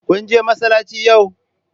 Kun je masallaci yau?